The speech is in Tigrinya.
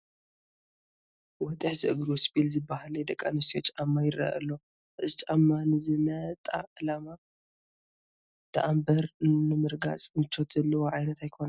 ወጢሕ ዝእግሩ ስፒል ዝበሃል ናይ ደቂ ኣንስትዮ ጫማ ይርአ ኣሎ፡፡ እዚ ጫማ ንዝነጣ ዕላማ ደኣምበር ንምርጋፅ ምቾት ዘለዎ ዓይነት ኣይኮነን፡፡